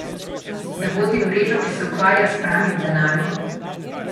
Da vodi mrežo, ki se ukvarja s pranjem denarja?